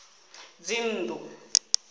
dzinnḓu